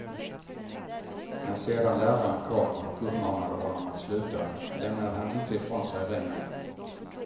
När sedan läraren kom och uppmanade honom att sluta lämnade han inte ifrån sig remmen.